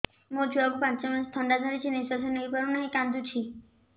ମୋ ଛୁଆକୁ ପାଞ୍ଚ ମାସ ଥଣ୍ଡା ଧରିଛି ନିଶ୍ୱାସ ନେଇ ପାରୁ ନାହିଁ କାଂଦୁଛି